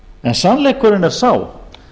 en sannleikurinn er sá